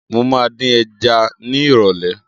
Mo ma dín ẹja ni ìrọ̀lẹ́